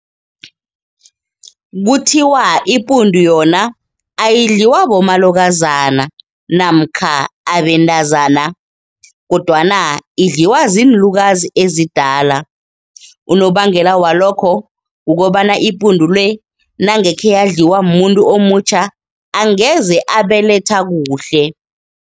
Kuthiwa ipundu yona ayidliwa bomalokazana namkha abentazana kodwana idliwa ziinlukazi ezidala. Unobangela walokho kukobana ipundu le nange kheyadliwa mmuntu omutjha angeze abeletha kuhle.